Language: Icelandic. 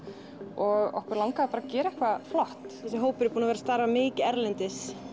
og okkur langaði bara að gera eitthvað flott þessi hópur er búinn að vera að starfa mikið erlendis